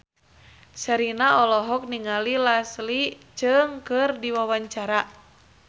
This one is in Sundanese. Sherina olohok ningali Leslie Cheung keur diwawancara